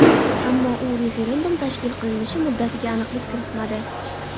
Ammo u referendum tashkil qilinishi muddatiga aniqlik kiritmadi.